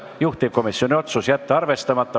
Juhtivkomisjoni otsus: jätta arvestamata.